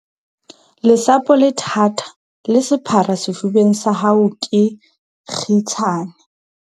Lesapo le thata, le sephara sefubeng sa hao ke kgitshane.